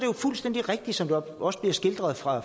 jo fuldstændig rigtigt som der også bliver skildret fra